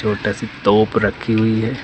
छोटा सी तोप रखी हुई है।